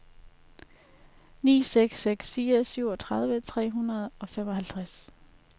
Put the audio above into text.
ni seks seks fire syvogtredive tre hundrede og femoghalvtreds